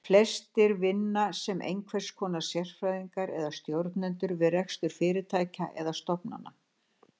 Flestir vinna sem einhvers konar sérfræðingar eða stjórnendur við rekstur fyrirtækja eða stofnana.